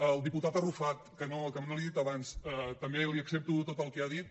el diputat arrufat que no li ho he dit abans també li accepto tot el que ha dit